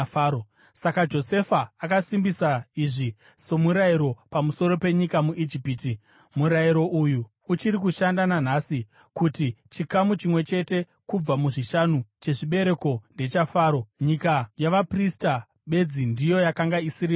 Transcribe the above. Saka Josefa akasimbisa izvi somurayiro pamusoro penyika muIjipiti, murayiro uyu uchiri kushanda nanhasi, kuti chikamu chimwe chete kubva muzvishanu chezvibereko ndechaFaro. Nyika yavaprista bedzi ndiyo yakanga isiri yaFaro.